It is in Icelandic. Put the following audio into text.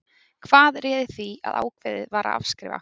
Hvað réði því að ákveðið var að afskrifa?